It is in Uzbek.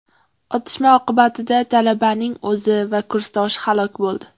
Otishma oqibatida talabaning o‘zi va kursdoshi halok bo‘ldi.